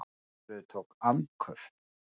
Steingerður tók andköf.